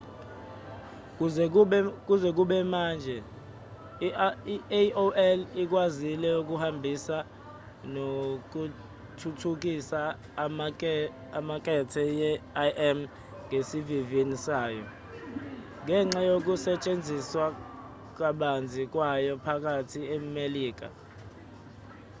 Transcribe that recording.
kuze kube manje i-aol ikwazile ukuhambisa nokuthuthukisa imakethe ye-im ngesivinini sayo ngenxa yokusetshenziswa kabanzi kwayo phakathi nemelika